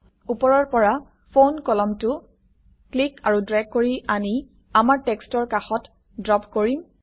ওপৰৰ পৰা ফোন কলমটো ক্লিক আৰু ড্ৰেগ কৰি আনি আমাৰ টেক্সটৰ কাষত ড্ৰপ কৰিম